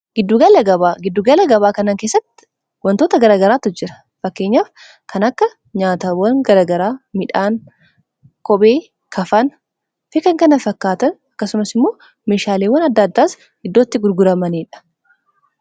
giddugala gabaa kanan keessatti wantoota garagaraattu jira fakkeenyaaf kan akka nyaatawwan garagaraa midhaan kopee kafaan fikan kana fakkaatan akkasumas immoo mishaaliiwwan adda addaas iddootti gurguramaniidha